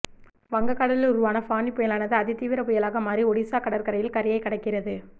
வங்க கடலில் உருவான ஃபானி புயலானது அதி தீவிர புயலாக மாறி ஒடிசா கடற்கரையில் கரையை கடக்கிறது